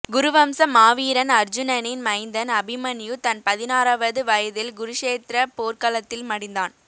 குருவம்ச மாவீரன் அர்ஜுனனின் மைந்தன் அபிமன்யு தன் பதினாறாவது வயதில் குருஷேத்ரப் போர்க்களத்தில் மடிந்தான்